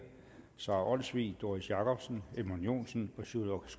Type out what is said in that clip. sara olsvig doris jakobsen edmund joensen og sjúrður